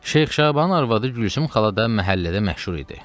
Şeyx Şabanın arvadı Gülsüm xala da məhəllədə məşhur idi.